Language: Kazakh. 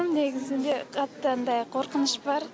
негізінде қатты андай қорқыныш бар